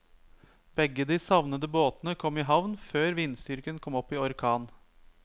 Begge de savnede båtene kom i havn før vindstyrken kom opp i orkan.